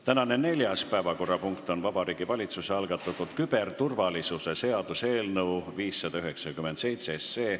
Tänane neljas päevakorrapunkt on Vabariigi Valitsuse algatatud küberturvalisuse seaduse eelnõu 597.